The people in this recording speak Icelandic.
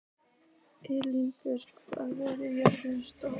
Engilbjört, hvað er jörðin stór?